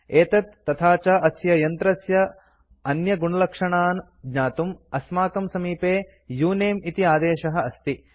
एतत् तथा च अस्य यन्त्रस्य अन्यगुणलक्षणान् ज्ञातुं अस्माकं समीपे उनमे इति आदेशः अस्ति